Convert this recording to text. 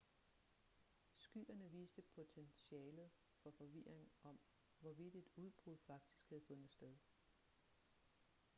skyerne viste potentialet for forvirring om hvorvidt et udbrud faktisk havde fundet sted